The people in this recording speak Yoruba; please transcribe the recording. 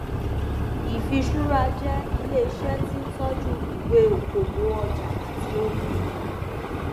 ìfiṣúra jẹ ilé iṣẹ tí ń tọjú ìwé okòwò ọjà àti ohunìní